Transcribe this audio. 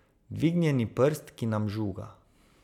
Dvignjeni prst, ki nam žuga.